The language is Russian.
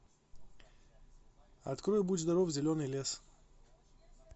открой будь здоров зеленый лес